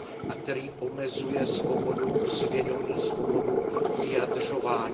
a který omezuje svobodu svědomí, svobodu vyjadřování.